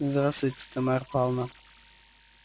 здравствуйте тамар пална